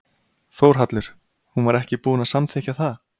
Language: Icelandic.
Þórhallur: Hún var ekki búin að samþykkja það?